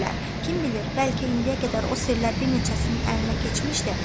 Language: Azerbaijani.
Kim bilir, bəlkə indiyə qədər o sirlər bir neçəsinin əlinə keçmişdi.